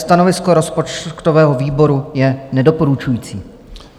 Stanovisko rozpočtového výboru je nedoporučující.